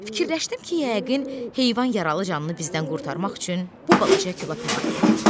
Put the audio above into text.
Fikirləşdim ki, yəqin heyvan yaralı canını bizdən qurtarmaq üçün bu balaca kola pənah gətirdi.